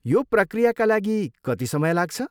यो पक्रियाका लागि कति समय लाग्छ?